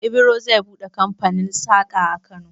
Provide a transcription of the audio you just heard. Ibro zai buɗe kamfanin saƙa a Kano.